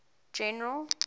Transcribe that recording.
general